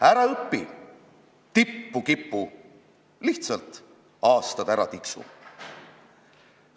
Ära õpi, tippu kipu, lihtsalt aastad ära tiksu.